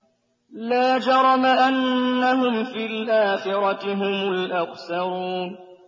لَا جَرَمَ أَنَّهُمْ فِي الْآخِرَةِ هُمُ الْأَخْسَرُونَ